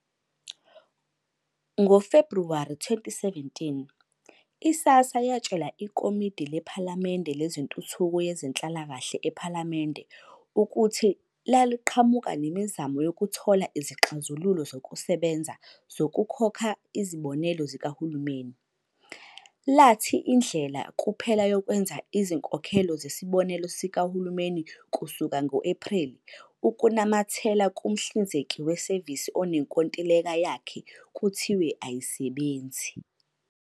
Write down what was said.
NgoFebhuwari 2017, i-SASSA yatshela ikomidi lephalamende lezentuthuko yezenhlalakahle ePhalamende ukuthi laliqhamuka nemizamo yokuthola izixazululo zokusebenza zokukhokha izibonelelo zikahulumeni, lathi indlela kuphela yokwenza izinkokhelo zesibonelelo sikahulumeni kusuka ngo-Ephreli ukunamathela kumhlinzeki wesevisi onenkontileka yakhe kuthiwe ayisebenzi.